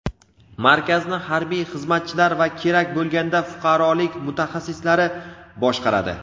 Markazni harbiy xizmatchilar va kerak bo‘lganda fuqarolik mutaxassislari boshqaradi.